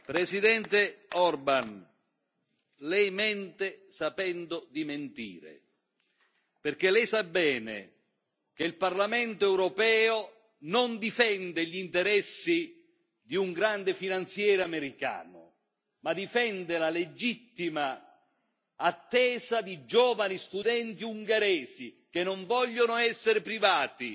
Presidente Orban, lei mente sapendo di mentire, perché lei sa bene che il Parlamento europeo non difende gli interessi di un grande finanziere americano, ma difende la legittima attesa di giovani studenti ungheresi che non vogliono essere privati